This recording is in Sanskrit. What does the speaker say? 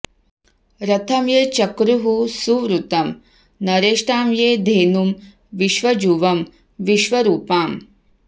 रथं ये चक्रुः सुवृतं नरेष्ठां ये धेनुं विश्वजुवं विश्वरूपाम्